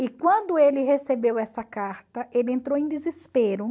E quando ele recebeu essa carta, ele entrou em desespero.